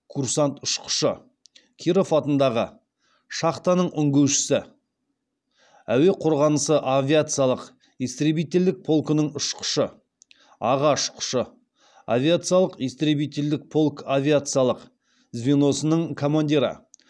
курсант ұшқышы киров атындағы шахтаның үңгушісі әуе қорғанысы авиациялық истребительдік полкының ұшқышы аға ұшқышы авиациялық истребителдік полк авиациялық звеносының командирі